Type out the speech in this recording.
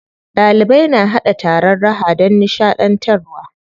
Ɗalibai na haɗa taron raha don nishaɗantarwa.